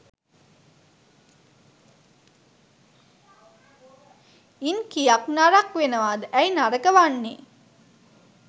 ඉන් කියක් නරක් වෙනවද ඇයි නරක වන්නේ?